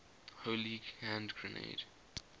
holy hand grenade